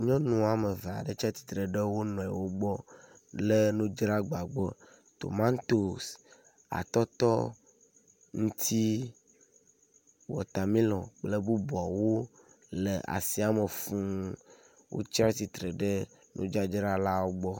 Nyɔnu wɔme eve aɖe tsi atsitre ɖe wo nɔewo gbɔ le nudzragbagbɔ. Tomatosi, atɔtɔ, ŋtsi, watamelɔn kple bubuawo le asiame fuu. Wotsi atsitre ɖe nudzadzrawo gbɔ.